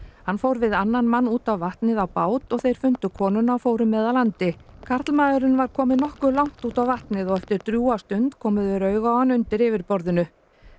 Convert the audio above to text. hann fór við annan mann út á vatnið á bát og þeir fundu konuna og fóru með að landi karlmaðurinn var kominn nokkuð langt út á vatnið og eftir drjúga stund komu þeir auga á hann undir yfirborðinu